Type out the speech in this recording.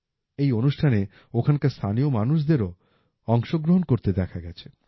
এই অনুষ্ঠানে ওখানকার স্থানীয় মানুষদেরও অংশগ্রহণ করতে দেখা গেছে